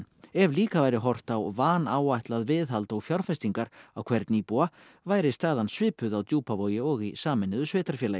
ef líka væri horft á vanáætlað viðhald og fjárfestingar á hvern íbúa væri staðan svipuð á Djúpavogi og í sameinuðu sveitarfélagi